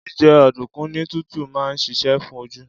Jíjẹ ọ̀dùnkún ní tútù máa ń ṣiṣẹ́ fún oju